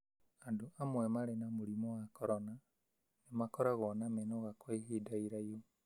Andũ amwe marĩ na mũrimũ wa corona nĩ makoragwo na mĩnoga kwa ihinda ĩraihũ.